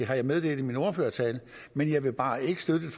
har jeg meddelt i min ordførertale men jeg vil bare ikke støtte et